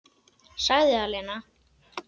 Sagði það, Lena.